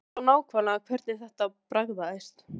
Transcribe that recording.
Ég man ennþá nákvæmlega hvernig þetta bragðaðist.